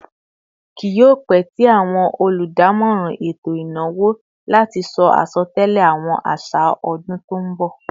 Kí yio pẹ tí àwọn oludamoran eto ìnáwó láti sọ asotẹlẹ àwọn așa ọdún tó nbọ